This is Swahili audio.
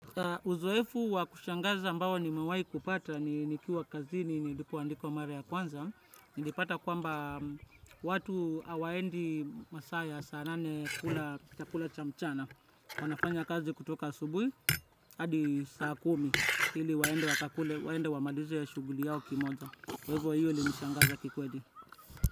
Uzoefu wa kushangaza ambao nimewai kupata nikiwa kazini nilipoandikwa mara ya kwanza nilipata kwamba watu hawaendi masaa ya saa nane kukula chakula cha mchana. Wanafanya kazi kutoka asubui hadi saa kumi hili waende wakakule waende wamalize shughuli yao kimoja. Kwa hivyo hilo lilinishangaza kikweli.